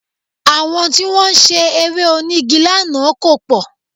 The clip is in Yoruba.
Àwọn tí wọ́n ṣe Eré onígi lánàá kò pọ̀